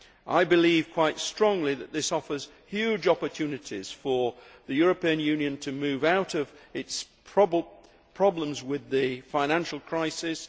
I believe quite strongly that this offers huge opportunities for the European Union to move out of its problems with the financial crisis.